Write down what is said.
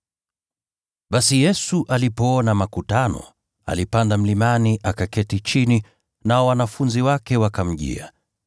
Basi Yesu alipoona makutano, alipanda mlimani akaketi chini, nao wanafunzi wake wakamjia.